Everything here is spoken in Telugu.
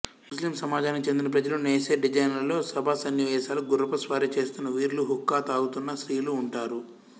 ముస్లిం సమాజానికి చెందిన ప్రజలు నేసే డిజైన్లలో సభాసన్నివేశాలు గుర్రపుస్వారీ చేస్తున్న వీరులు హుక్కా త్రాగుతున్న స్త్రీలు ఉంటారు